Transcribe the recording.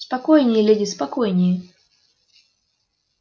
спокойнее леди спокойнее